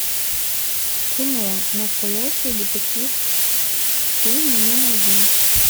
кино настоящий детектив ты мне найдешь